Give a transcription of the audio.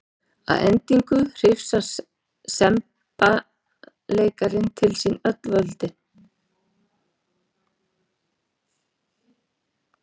Að endingu hrifsar semballeikarinn til sín öll völd.